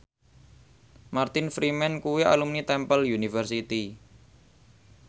Martin Freeman kuwi alumni Temple University